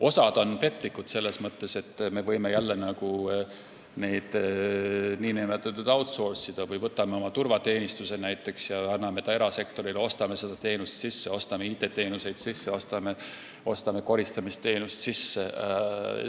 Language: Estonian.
Osa neist on petlikud, selles mõttes, et me võime mingeid teenuseid n-ö outsource'ida – võtame näiteks oma turvateenistuse ja anname ta erasektorile, ostame seda teenust sisse, ostame IT-teenuseid sisse, ostame koristamisteenust sisse jne.